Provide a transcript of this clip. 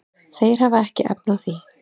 Þeir hafa ekki efni á því.